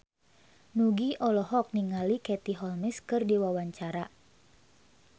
Nugie olohok ningali Katie Holmes keur diwawancara